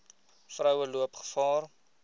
vroue loop gevaar